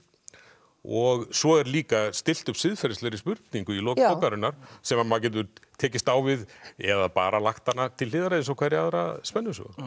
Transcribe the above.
og svo er líka stillt upp siðferðislegri spurningu í lok bókarinnar sem maður getur tekist á við eða bara lagt hana til hliðar eins og hverja aðra spennusögu